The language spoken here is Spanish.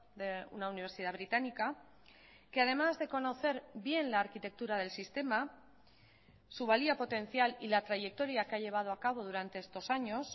de una universidad británica que además de conocer bien la arquitectura del sistema su valía potencial y la trayectoria que ha llevado acabo durante estos años